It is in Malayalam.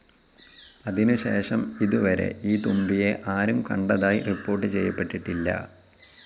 അതിനു ശേഷം ഇതുവരെ ഈ തുമ്പിയെ ആരും കണ്ടതായി റിപ്പോർട്ട്‌ ചെയ്യപ്പെട്ടിട്ടില്ല.